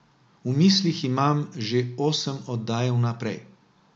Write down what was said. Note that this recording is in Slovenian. V mislih imam že osem oddaj vnaprej.